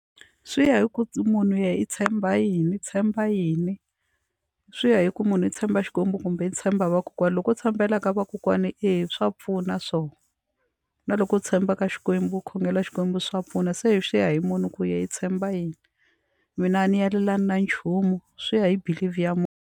Swi ya hi ku munhu i tshemba yini i tshemba yini swi ya hi ku munhu i tshemba Xikwembu kumbe ni tshemba vakokwana loko tshembelaka vakokwani eya swa pfuna swona na loko u tshemba ka Xikwembu a khongela Xikwembu swa pfuna se swi ya hi munhu ku yena i tshemba yini mina a ni alelani na nchumu swi ya hi believe ya munhu.